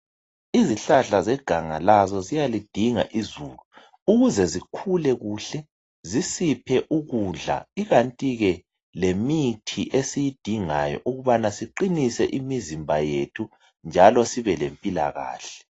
Izihlahla zeganga lazo ziyalidinga izulu ukuze zikhule kuhle ,zisiphe ukudla, ikanti ke lemithi esiyidingayo ukubana siqinise imizimba yethu njalo sibe lempilakahle.